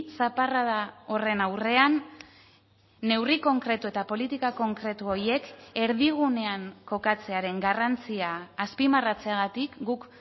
zaparrada horren aurrean neurri konkretu eta politika konkretu horiek erdigunean kokatzearen garrantzia azpimarratzeagatik guk